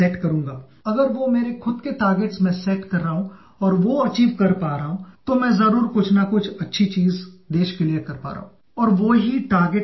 "Namaskar, I am Sachin Tendulkar speaking